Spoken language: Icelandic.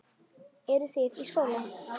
Eru þið í skóla?